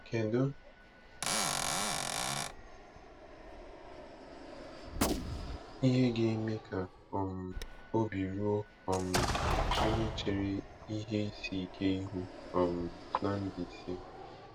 Kedu ihe ga-eme ka um obi ruo um onye chere ihe isi ike ihu um na Mbaise?